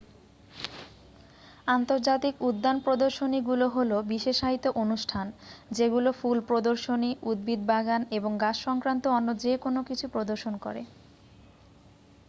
আন্তর্জাতিক উদ্যান প্রদর্শনীগুলো হলো বিশেষায়িত অনুষ্ঠান যেগুলো ফুল প্রদর্শনী উদ্ভিদ বাগান এবং গাছ সক্রান্ত অন্য যে কোন কিছু প্রদর্শন করে